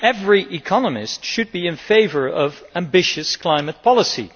Every economist should be in favour of ambitious climate policy.